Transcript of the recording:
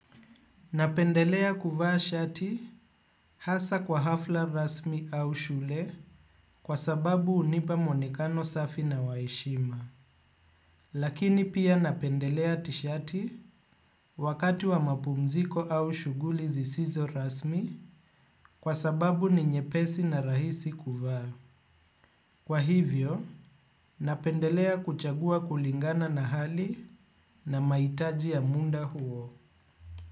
Napendelea kuvaa shati hasa kwa hafla rasmi au shule kwa sababu unipa mwonekano safi na waheshima. Lakini pia napendelea tishati wakati wa mapumziko au shughuli zisizo rasmi kwa sababu ni nyepesi na rahisi kuvaa. Kwa hivyo, napendelea kuchagua kulingana na hali na mahitaji ya munda huo.